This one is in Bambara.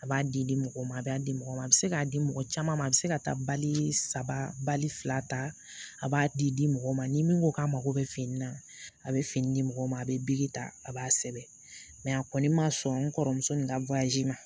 A b'a di di mɔgɔ ma a b'a di mɔgɔ ma a bɛ se k'a di mɔgɔ caman ma a bɛ se ka taa bali saba bali fila ta a b'a di di mɔgɔ ma ni min ko k'a mago bɛ fini na a bɛ fini di mɔgɔw ma a bɛ ta a b'a sɛbɛn a kɔni ma sɔn n kɔrɔmuso ni n ka ma